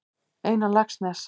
Einar Laxness.